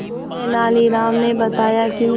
तेनालीराम ने बताया कि